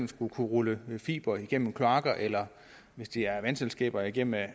skal kunne rulles fibre igennem kloakker eller hvis det er vandselskaber igennem